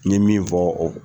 N'ɲe min fɔ o.